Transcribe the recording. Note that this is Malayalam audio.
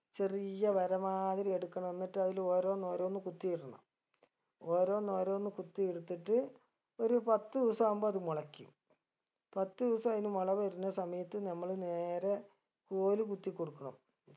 ചെറിയ വര മാതിരി എടുക്കണം എന്നിട്ട് അതില് ഓരോന്നോരോന്ന് കുത്തിയിടണം ഓരോന്നോരോന്ന് കുത്തിയെടുത്തിട്ട് ഒരു പത്ത് ദിവസാവുമ്പൊ അത് മുളയ്ക്കും പത്ത് ദിവസം അയിന് മുള വരുന്ന സമയത്ത് നമ്മള് നേരെ കോല് കുത്തിക്കൊടുക്കണം